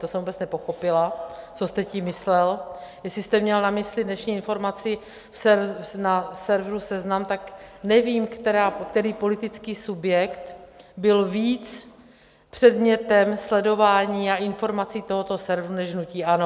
To jsem vůbec nepochopila, co jste tím myslel, jestli jste měl na mysli dnešní informaci na serveru Seznam, tak nevím, který politický subjekt byl víc předmětem sledování a informací tohoto serveru než hnutí ANO.